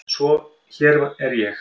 Svo hér er ég.